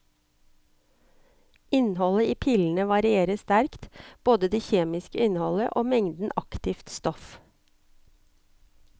Innholdet i pillene varierer sterkt, både det kjemiske innholdet og mengden aktivt stoff.